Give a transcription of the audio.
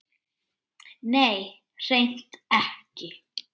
Nei, hreint ekki.